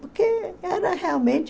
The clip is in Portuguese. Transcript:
Porque era realmente...